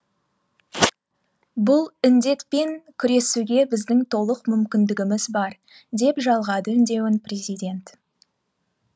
бұл індетпен күресуге біздің толық мүмкіндігіміз бар деп жалғады үндеуін президент